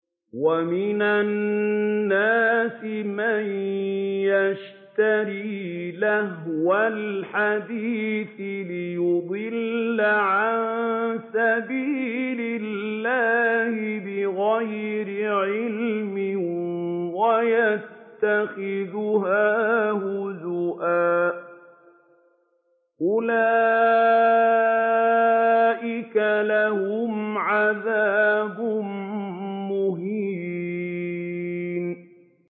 وَمِنَ النَّاسِ مَن يَشْتَرِي لَهْوَ الْحَدِيثِ لِيُضِلَّ عَن سَبِيلِ اللَّهِ بِغَيْرِ عِلْمٍ وَيَتَّخِذَهَا هُزُوًا ۚ أُولَٰئِكَ لَهُمْ عَذَابٌ مُّهِينٌ